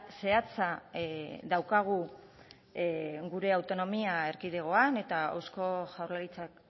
zehatza daukagu gure autonomia erkidegoan eta eusko jaurlaritzak